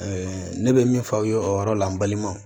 ne bɛ min fɔ aw ye o yɔrɔ la n balimaw